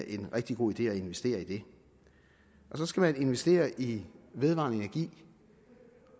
en rigtig god idé at investere i det så skal man investere i vedvarende energi